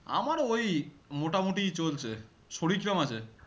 আমারও ওই, মোটামুটি চলছে, শরীর কেমন আছে?